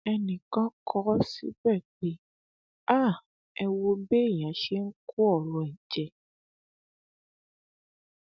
ẹnìkan kọ ọ síbẹ pé ha ẹ wo béèyàn ṣe ń kó ọrọ ẹ jẹ